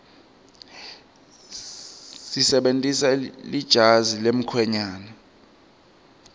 sebentisa lejazi lemkhwenyane